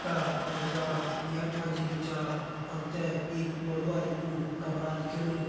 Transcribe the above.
का अनुसार यख मा जी जु छा हमते एक बड़ू भारी कू कमरा दिखेणु।